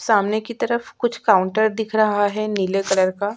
सामने की तरफ कुछ काउंटर दिख रहा है नीले कलर का --